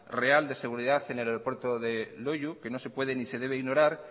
real de seguridad en el aeropuerto de loiu que no se puede ni se debe ignorar